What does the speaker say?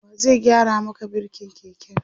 wa zai gyara Maka birkin keken?